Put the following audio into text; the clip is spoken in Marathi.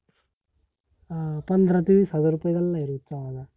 अं पंधरा ते विस हजार रूपए गल्ला आहे, रोजचा माझा